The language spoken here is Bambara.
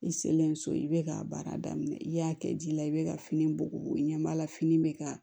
I selen so i bɛ k'a baara daminɛ i y'a kɛ ji la i bɛ ka fini bugu i ɲɛ b'a la fini bɛ ka